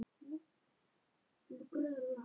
Þín dóttir Sólveig Andrea.